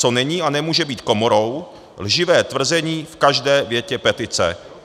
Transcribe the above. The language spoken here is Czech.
Co není a nemůže být komorou, lživé tvrzení v každé větě petice.